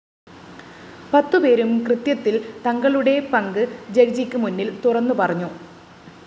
പത്തുപേരും കൃത്യത്തില്‍ തങ്ങളുടെ പങ്ക് ജഡ്ജിക്ക് മുന്നില്‍ തുറന്നു പറഞ്ഞു